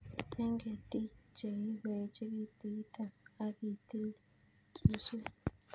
Eng'ketik che kikoechekitu item ak itil suswek